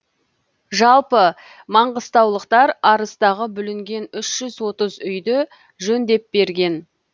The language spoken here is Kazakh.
жалпы маңғыстаулықтар арыстағы бүлінген үш жүз отыз үйді жөндеп берген